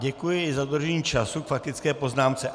Děkuji za dodržení času k faktické poznámce.